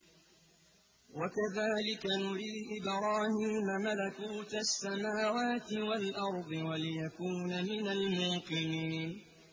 وَكَذَٰلِكَ نُرِي إِبْرَاهِيمَ مَلَكُوتَ السَّمَاوَاتِ وَالْأَرْضِ وَلِيَكُونَ مِنَ الْمُوقِنِينَ